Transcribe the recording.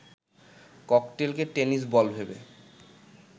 ককটেলকে tennis ball ভেবে